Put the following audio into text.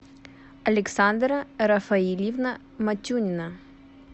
александра рафаильевна матюнина